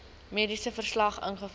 mediese verslag invul